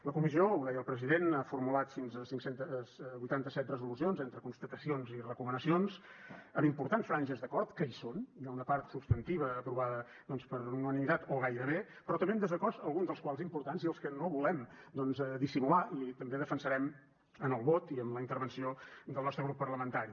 la comissió ho deia el president ha formulat fins a cinc cents i vuitanta set resolucions entre constatacions i recomanacions amb importants franges d’acord que hi són hi ha una part substantiva aprovada doncs per unanimitat o gairebé però també amb desacords alguns dels quals importants i els que no volem doncs dissimular i també defensarem amb el vot i amb la intervenció del nostre grup parlamentari